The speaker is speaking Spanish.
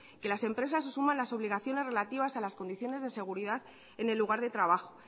que las empresas se sumen a las obligaciones relativas a las condiciones de seguridad en el lugar de trabajo